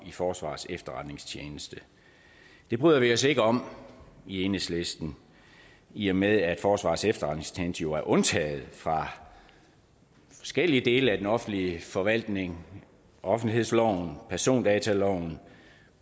i forsvarets efterretningstjeneste det bryder vi os ikke om i enhedslisten i og med at forsvarets efterretningstjeneste jo er undtaget fra forskellige dele af den offentlige forvaltning offentlighedsloven persondataloven